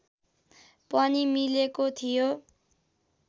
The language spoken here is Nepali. पनि मिलेको थियो